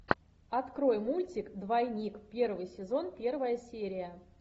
открой мультик двойник первый сезон первая серия